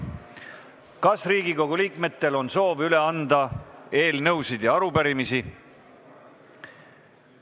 Kas Riigikogu liikmetel on soovi anda üle eelnõusid ja arupärimisi?